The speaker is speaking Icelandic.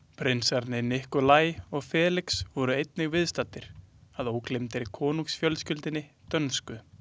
Prinsarnir Nikolaj og Felix voru einnig viðstaddir að ógleymdri konungsfjölskyldunni dönsku.